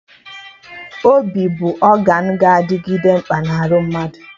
Obi bụ ọgan ga-adịgide mkpa na arụ mmadụ